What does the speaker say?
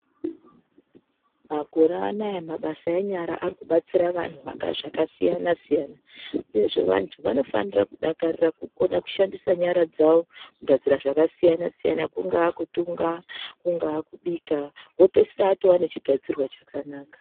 Makore anaya mabasa enyara arikubatsira vanhu zvakasiyana-siyana uyezve vantu vanofanira kudakarira kukona kushandisa nyara dzavo kugadzira zvakasiyana-siyana, kungava kutunga, kungava kubika wopedzisira watova nechigadzirwa chakanaka.